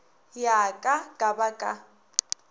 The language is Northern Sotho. ya ka ka ba ka